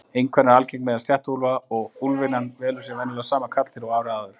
Einkvæni er algengt meðal sléttuúlfa en úlfynjan velur sér venjulega sama karldýr og árið áður.